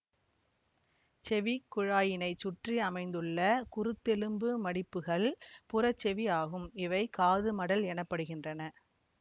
செவிக் குழாயினைச் சுற்றி அமைந்துள்ள குருத்தெலும்பு மடிப்புகள் புறச்செவி ஆகும் இவை காது மடல் எனப்படுகின்றன